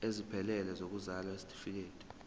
esiphelele sokuzalwa isitifikedi